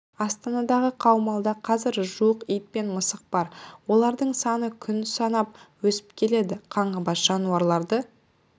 астанадағы қаумалда қазір жуық ит пен мысық бар олардың саны күн санап өсіп келеді қаңғыбас жануарларды